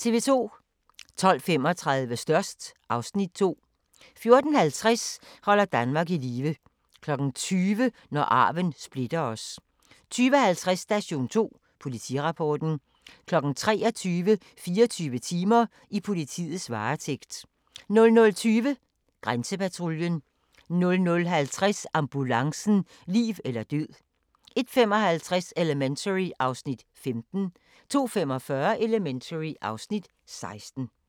12:35: Størst (Afs. 2) 14:50: Holder Danmark i live 20:00: Når arven splitter os 20:50: Station 2: Politirapporten 23:00: 24 timer: I politiets varetægt 00:20: Grænsepatruljen 00:50: Ambulancen - liv eller død 01:55: Elementary (Afs. 15) 02:45: Elementary (Afs. 16)